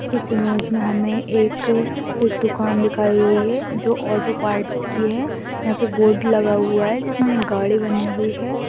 इस इमेज हमे एक एक दुकान दिखाई गई है जो ऑटो पार्ट्स की है यहाँ पे बोर्ड लगा हुआ है जिसमे गाड़ी बनी हुई है।